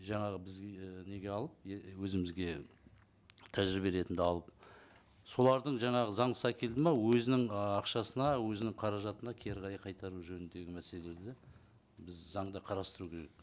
жаңағы бізге ііі неге алып өзімізге тәжірибе ретінде алып соларды жаңағы заңсыз әкелді ме өзінің ы ақшасына өзінің қаражатына кері қарай қайтару жөніндегі мәселелерді біз заңда қарастыру керек